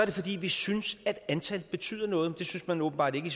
det fordi vi synes at antallet betyder noget men det synes man åbenbart ikke i